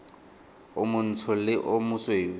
o montsho le o mosweu